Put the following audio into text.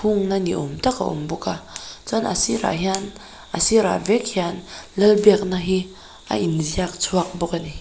hung na ni awm tak a awm bawk a chuan a sirah hian a sirah vek hian lal biakna hi a inziak chhuak bawk ani.